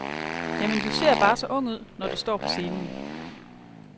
Jamen, du ser bare så ung ud, når du står på scenen.